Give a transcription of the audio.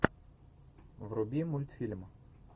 вруби мультфильм